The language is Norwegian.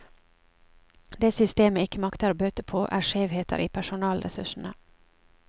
Det systemet ikke makter å bøte på, er skjevheter i personellressursene.